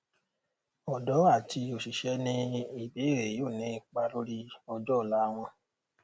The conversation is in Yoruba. ọdọ àti òṣìṣẹ ní ìbéèrè yóò ní ipa lórí ọjọọla wọn